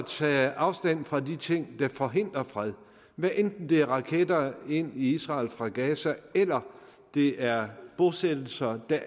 tage afstand fra de ting der forhindrer fred hvad enten det er raketter ind i israel fra gaza eller det er bosættelser